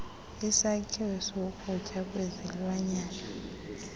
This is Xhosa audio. isakhiwo sokutya kwezilwanyana